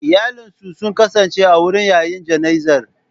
Iyalinsu sun kasance a wurin yayin jana'izar.